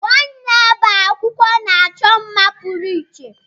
Nwaanyi na-agba akwụkwọ na-achọ mma pụrụ iche.